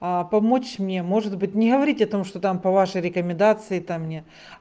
а помочь мне может быть не говорить о том что там по вашей рекомендации то мне